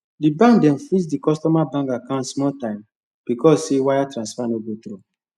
the bank dem freeze the customer bank account small time because say wire transfer no go through